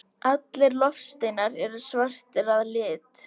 allir loftsteinar eru svartir að lit